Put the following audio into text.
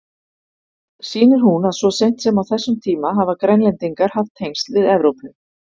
Sýnir hún að svo seint sem á þessum tíma hafa Grænlendingar haft tengsl við Evrópu.